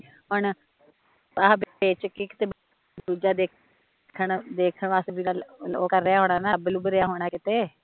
ਹੁਣ ਆਹ ਵੇਚ ਕੇ ਕਿਤੇ ਬਾਹਰ ਦੂਜਾ ਦੇਖਣ ਵਾਸਤੇ ਵੀ ਤਾਂ ਓਹ ਕਰ ਰਿਹਾ ਹੋਣਾ, ਲੱਬ ਲੁਬ ਰਿਹਾ ਹੋਣਾ ਕਿਤੇ